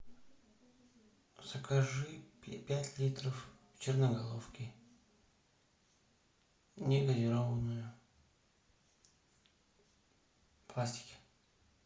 закажи пять литров черноголовки не газированную в пластике